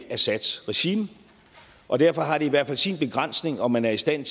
assads regime og derfor har det i hvert fald sin begrænsning om man er i stand